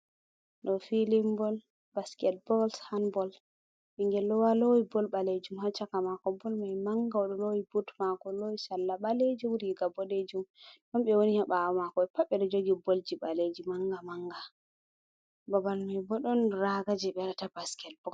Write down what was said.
Ɗo filin bol, basket bol, hanbol. Ɓingel ɗo lowi bol ɓaleejum ha caka maako. Bol mai manga, o ɗo loowi but mako, lowi salla ɓaleejum, riga boɗeejum. Ɗon ɓe woni ha ɓaawo maako be pat be ɗo jogi bolji baleji manga-manga. Babal mai bo ɗon raga jei be waɗata ta basket bol.